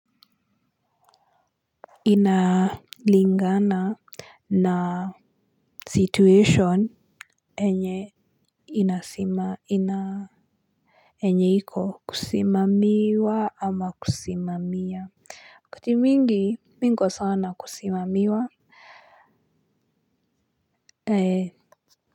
Inalingana na situation enye inasima ina enye iko kusimamiwa ama kusimamia kati mingi minko sawa na kusimamiwa ee.